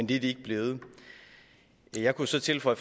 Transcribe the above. det er de ikke blevet jeg kunne så tilføje